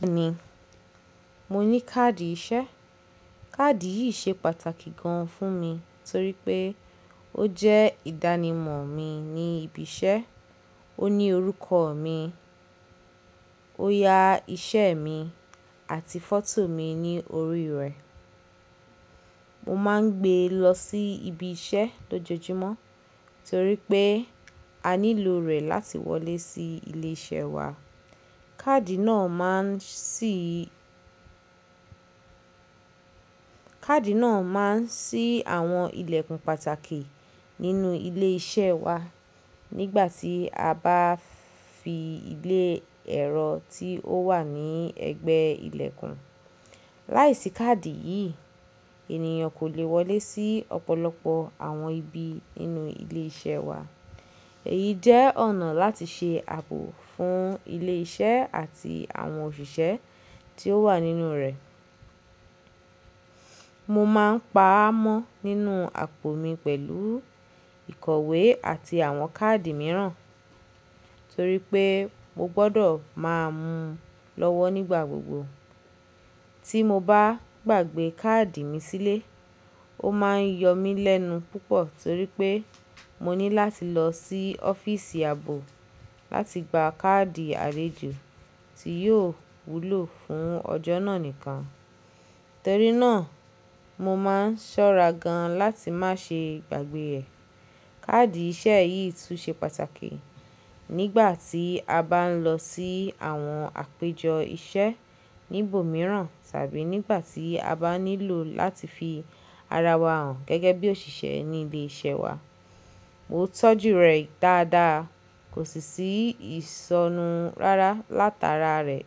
Bẹ́ẹ̀ni, mo ní káàdì iṣẹ́. Káàdì yìí ṣe pàtàkì gan fún mi torí pé ó jẹ́ ìdánimọ̀ mi ní ibi iṣẹ́, ó ní orúkọ mi, ó ya iṣẹ́ mi àti fọ́tò mi ní orí rẹ̀. Mo máa ń gbé e lọ sí ibi iṣẹ́ lójoojúmọ́ torí pé a nílò rẹ̀ láti wọlé sí ilé-iṣẹ́ wa. Káàdì náà máa ń ṣí, káàdì náà máa ń ṣí àwọn ilẹ̀kùn pàtàkì nínú ilé iṣẹ́ wa nígbà tí a bá fi ilé ẹrọ tí ó wà ní ẹ̀gbẹ́ ilẹ̀kùn. Láìsí káàdì yìí, ènìyàn kò lè wọlé sí ọ̀pọ̀lọpọ̀ àwọn ibi nínú ilé iṣẹ́ wa. Èyí jẹ́ ọ̀nà láti ṣe ààbò fún ilé iṣẹ́ àti àwọn òṣìṣẹ́ tí ó wà nínú rẹ̀. Mo máa ń pa á mọ́ nínú àpò mi pẹ̀lú ìkọ̀wé àti àwọn káàdì mìíràn torí pé mo gbọdọ̀ máa mú un lọ́wọ́ nígbà gbogbo. Tí mo bá gbàgbé káàdì mi sílé, ó máa ń yọ mí lẹ́nu púpọ̀ torí pé mo ní láti lọ sí office ààbò láti gba káàdì àlejo tí yóò wúlò fún ọjọ́ náà nìkan. Torí náà mo máa ń ṣọ́ra gan láti má ṣe gbàgbé ẹ̀. Káàdì iṣẹ́ yìí tún ṣe pàtàkì nígbà tí a bá ń lọ sí àwọn àpéjọ iṣẹ́ níbòmíràn tàbí nígbà tí a bá nílò láti fi ara wa hàn gẹ́gẹ́ bí òṣìṣẹ́ ní ilé iṣẹ́ wa. Mo tọ́jú rẹ̀ dáadáa, kò sì sí ìṣọnú rárá látara rẹ̀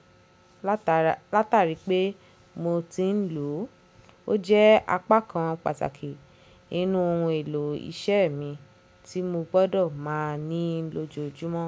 látara, látàrí pé mo ti ń lò ó. Ó jẹ́ apá kan pàtàkì nínú ohun èlò iṣẹ́ mi tí mo gbọdọ̀ máa ní lójoojúmọ́.